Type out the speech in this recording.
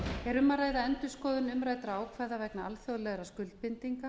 er um að ræða endurskoðun umræddra ákvæða vegna alþjóðlegra skuldbindinga